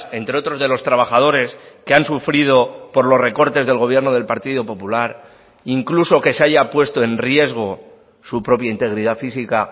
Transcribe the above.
entre otros de los trabajadores que han sufrido por los recortes del gobierno del partido popular incluso que se haya puesto en riesgo su propia integridad física